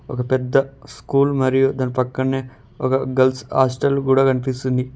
ఒక పెద్ద స్కూల్ మరియు దాని పక్కనే ఒక గర్ల్స్ హాస్టల్ కూడా కనిపిస్తుంది.